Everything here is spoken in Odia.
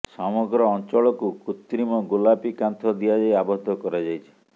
ସମଗ୍ର ଅଞ୍ଚଳକୁ କୃତ୍ରିମ ଗୋଲାପୀ କାନ୍ଥ ଦିଆଯାଇ ଆବଦ୍ଧ କରାଯାଇଛି